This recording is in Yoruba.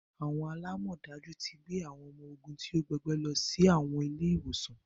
Awọn alamọdaju ti gbé awọn ọmọ ogún ti o gbọgbẹ lọ si awọn ile-iwosan